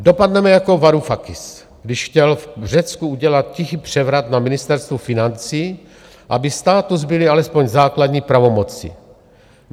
Dopadneme jako Varufakis, když chtěl v Řecku udělat tichý převrat na Ministerstvu financí, aby státu zbyly alespoň základní pravomoci.